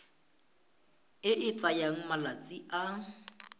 e e tsayang malatsi a